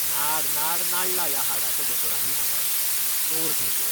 नाड नाड नाडला ह्या हाडाच्या दोतोरांनी म्हाका. चोर खंयचे!